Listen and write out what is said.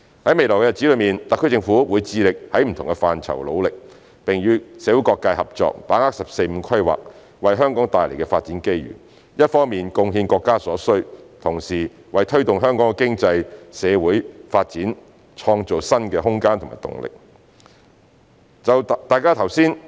在未來的日子，特區政府會致力在不同範疇努力，並與社會各界合作，把握"十四五"規劃為香港帶來的發展機遇，一方面貢獻國家所需，同時為推動香港的經濟、社會發展創造新的空間和動力。